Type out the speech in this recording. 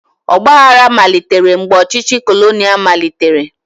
Ọgbaaghara malitere mgbe ọchịchị kolonial malitere.